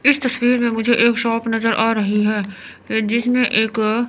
इस तस्वीर में मुझे एक शॉप नजर आ रही है जिसमें एक--